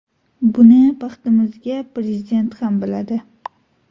Buni, baxtimizga, Prezident ham biladi.